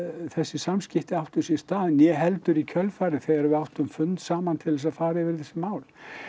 þessi samskipti áttu sér stað né heldur í kjölfarið þegar við áttum fund saman til þess að fara yfir þessi mál